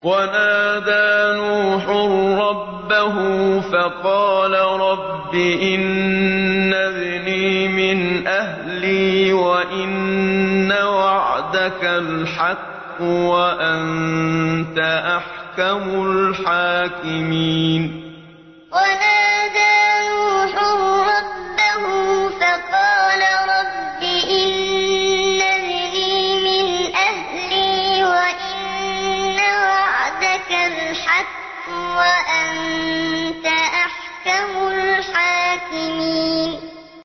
وَنَادَىٰ نُوحٌ رَّبَّهُ فَقَالَ رَبِّ إِنَّ ابْنِي مِنْ أَهْلِي وَإِنَّ وَعْدَكَ الْحَقُّ وَأَنتَ أَحْكَمُ الْحَاكِمِينَ وَنَادَىٰ نُوحٌ رَّبَّهُ فَقَالَ رَبِّ إِنَّ ابْنِي مِنْ أَهْلِي وَإِنَّ وَعْدَكَ الْحَقُّ وَأَنتَ أَحْكَمُ الْحَاكِمِينَ